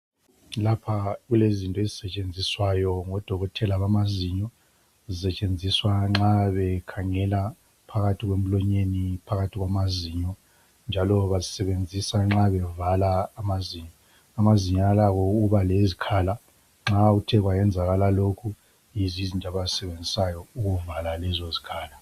Lapha kulezinto ezisetshenziswayo ngodokotela bamazinyo zisetshenziswa nxa bekhangela phakathi kwemlonyeni, phakathi kwamazinyo. Njalo bazisebenzisa nxa bevala amazinyo. Amazinyo alakho ukubalezikhala nxa kuthekwayenzakala lokhu, yizo izinto abazisebenzisayo ukuvala lezo zikhala.